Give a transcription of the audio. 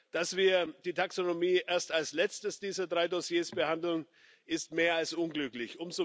Dass wir die Taxonomie erst als Letztes dieser drei Dossiers behandeln, ist mehr als unglücklich.